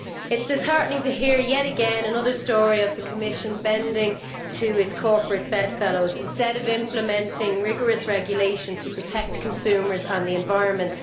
It is disheartening to hear yet again another story of the Commission bending to its corporate bedfellows instead of implementing rigorous regulation to protect consumers and the environment.